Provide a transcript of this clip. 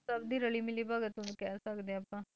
ਸਭ ਦੀ ਰਲੀ ਮਿਲੀ ਭਗ ਉਹਨੂੰ ਕਹਿ ਸਕਦੇ ਹਾਂ ਆਪਾਂ